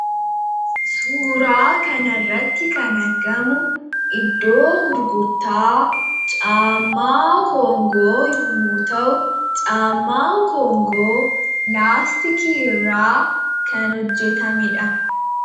suuraa kan arratti kan argamu iddoo gurgurtaa caamaa koongoo yommu ta'u caammaa koongoo laastikii irraa kan hojjetamedha